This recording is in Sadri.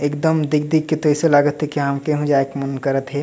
एकदम देख देख के तो अइसन लगत हे हमके हूँ जाइके मन करत हे।